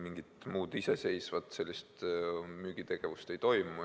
Mingit muud iseseisvat müügitegevust ei toimu.